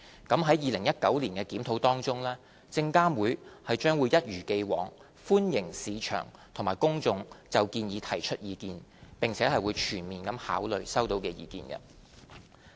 在2019年的檢討中，證監會將一如既往，歡迎市場及公眾就建議提出意見，並會全面考慮收到的意見。